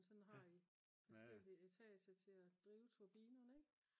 og sådan har de forskellige etager til at drive turbinerne ik